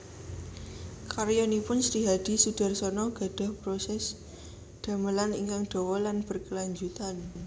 Karyanipun Srihadi Soedarsono gadhah proses damelan ingkang dawa lan berkelanjutan